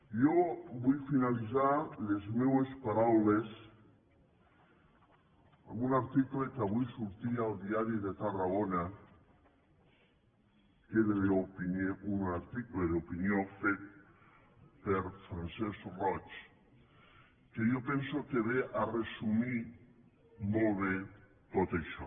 jo vull finalitzar les meues paraules amb un article que avui sortia al diari de tarragona que era un article d’opinió fet per francesc roig que jo penso que ve a resumir molt bé tot això